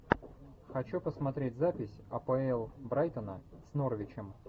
хочу посмотреть запись апл брайтона с норвичем